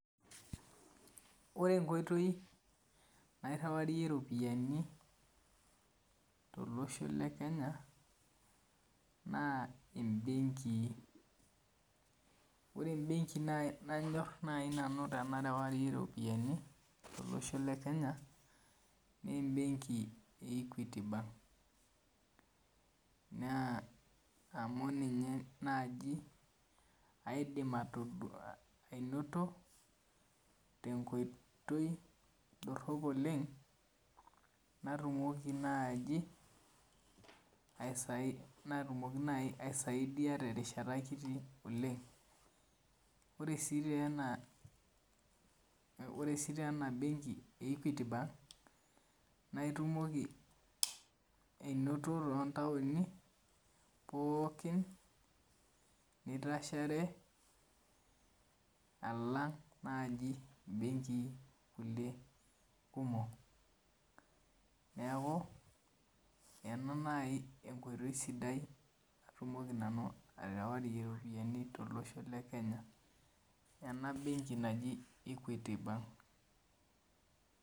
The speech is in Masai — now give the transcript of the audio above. Ore enkoitoi, nairriwarie ropiyiani tolosho le Kenya, naa ibenkii. Ore ebenki nai nanyor nanu tenarewarie ropiyiani tolosho le Kenya, nebenki e Equity bank. Naa amu ninye naaji aidim ainoto tenkoitoi dorrop oleng, natumoki naji, natumoki naji aisaidia terishata kiti oleng. Ore si tena, ore si tena benki e Equity bank, na itumoki ainoto tontaoni pookin nitashare alang naji benkii kulie kumok. Neeku, ena nai enkoitoi sidai natumoki nanu aterewarie ropiyiani tolosho le Kenya. Ena benki naji Equity bank.